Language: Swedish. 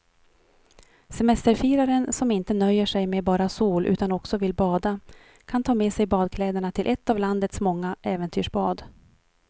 Semesterfiraren som inte nöjer sig med bara sol utan också vill bada kan ta med sig badkläderna till ett av landets många äventyrsbad.